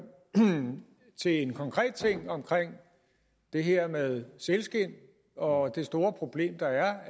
til en konkret ting omkring det her med sælskind og det store problem der er